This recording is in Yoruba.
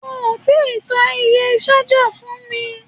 O tí sọ iye ṣájà fún mi.